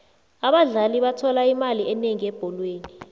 abadlali bathola imali enengi ebholweni